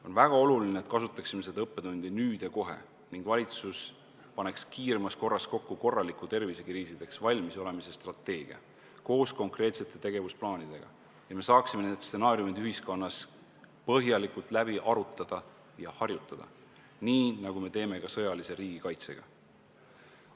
On väga oluline, et kasutaksime seda õppetundi nüüd ja kohe ning valitsus paneks kiiremas korras kokku korraliku tervisekriisideks valmisolemise strateegia koos konkreetsete tegevusplaanidega, et me saaksime need stsenaariumid ühiskonnas põhjalikult läbi arutada ja harjutada, nii nagu me teeme ka sõjalise riigikaitse puhul.